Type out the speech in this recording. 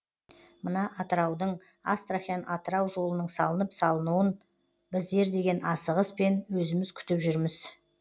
мына атыраудың астрахань атырау жолының салынып салынуын біздер деген асығыспен өзіміз күтіп жүрміз